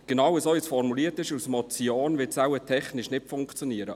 Genau so, wie es als Motion formuliert ist, wird es wohl technisch nicht funktionieren.